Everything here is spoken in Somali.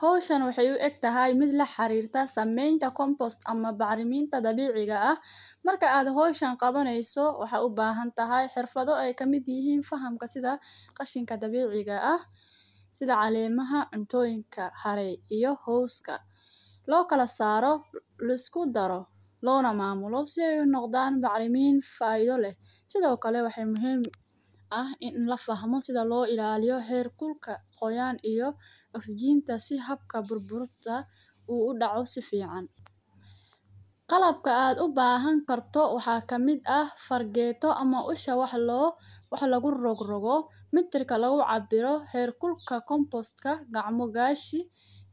Hawshani waxay u egtahay mid laxarirta sameenta kombost ama bacraminta dabiciga aah. Marka aad hawshan qawanyso waxa u bahantahy xirfado aay kamid ihiin fahamka sidha qashinka dabiciga aah sidha calemaha, cuntoyinka iyo cawska loo kalasaro laiskudaro lona maamuulo si ay unogdaan bacaramin faayo leeh sidho kale waxa muhiim aah in lafahmo sidha loo ilaliyo heer qulka, qoyaan iyo oxygenta si habka burburuda aah u udaco saficaan. Qalabka aad u bahan karto waxa kamid aah fargeeto ama usha wax lagu rogrogo, metreka lagucabiro, heer kulka kombostka, gacmo gashi,